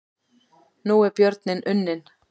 Nú er björninn unninn